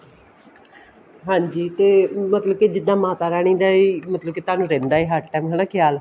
ਹਾਂਜੀ ਤੇ ਮਤਲਬ ਕੇ ਜਿੱਦਾਂ ਮਾਤਾ ਰਾਣੀ ਦਾ ਹੀ ਮਤਲਬ ਕੇ ਤੁਹਾਨੂੰ ਰਹਿੰਦਾ ਹੈ ਹਰ time ਹਨਾ ਖਿਆਲ